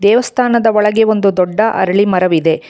ದೇವಸ್ಥಾನದ ಒಳಗೆ ಒಂದು ದೊಡ್ಡ ಅರಳಿ ಮರವಿದೆ.